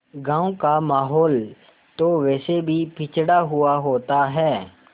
गाँव का माहौल तो वैसे भी पिछड़ा हुआ होता है